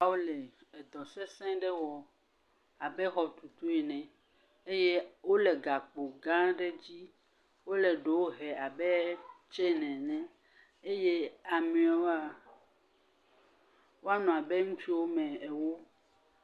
… wole edɔ sesẽ ɖe wɔ abe xɔtutu ene eye wole gakpo gã aɖe dzi. Wole ɖewo he abet seen ene eye ameawoa woanɔ abe ŋutsu woame ewo.